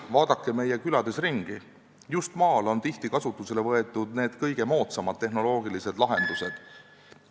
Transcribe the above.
Vaadake meie külades ringi: just maal on tihti kasutusele võetud kõige moodsamad tehnoloogilised lahendused ...